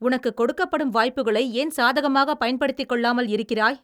உனக்குக் கொடுக்கப்படும் வாய்ப்புகளை ஏன் சாதகமாகப் பயன்படுத்திக்கொள்ளாமல் இருக்கிறாய்?